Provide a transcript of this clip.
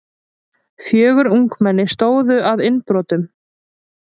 Fjögur ungmenni stóðu að innbrotum